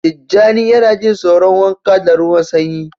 Tijjani yana jin tsoron wanka da ruwan sanyi